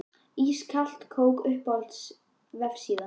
Ískalt kók Uppáhalds vefsíða?